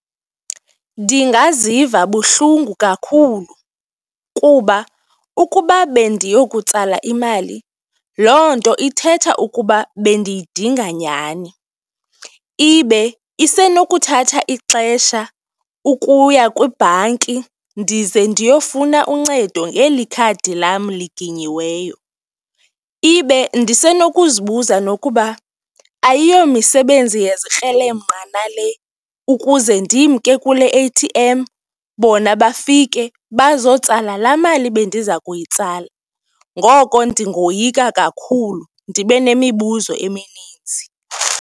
Ndingaziva buhlungu kakhulu kuba ukuba bendiyokutsala imali, loo nto ithetha ukuba bendiyidinga nyhani, ibe isenokuthatha ixesha ukuya kwibhanki ndize ndiyofuna uncedo ngeli khadi lam liginyiweyo ibe ndisenokuzibuza nokuba ayiyomisebenzi yezikrelemnqa nale ukuze ndimke kule A_T_M, bona bafike bazotsala laa mali bendiza kuyitsalela. Ngoko ndingoyika kakhulu ndibe nemibuzo emininzi.